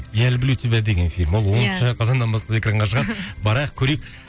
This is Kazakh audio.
я люблю тебя деген фильм ол иә оныншы қазаннан бастап экранға шығады барайық көрейік